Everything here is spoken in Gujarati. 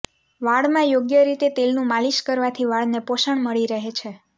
વાળમાં યોગ્ય રીતે તેલનું માલિશ કરવાથી વાળને પોષણ મળી રહે છે